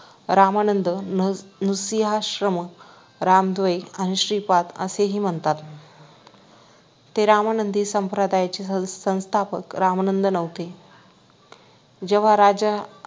रामानंद नृसिहांश्रम रामव्दय आणि श्रीपाद असेही म्हणतात ते रामानंद संप्रदायाचे संस्थापक रामानंद नव्हते जेव्हा राजा